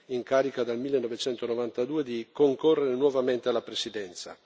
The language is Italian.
in carica dal 1992, di concorrere nuovamente alla presidenza.